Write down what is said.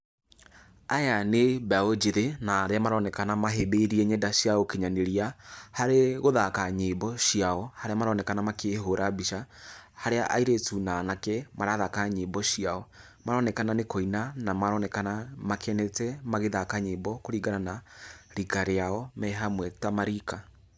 Aya nĩ mbeũ njĩthĩ, na arĩa maronekana mahĩmbĩirie nyenda cia ũkinyanĩria harĩ gũthaka nyĩmbo ciao harĩa maronekana makĩhũra mbica, harĩa airĩtũ na anake marathaka nyĩmbo ciao maronekana nĩ kũina na maronekana makenete magĩthaka nyĩmbo kũringana na rika rĩao me hamwe ta marika.